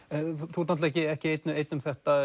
þú ert ekki einn einn um þetta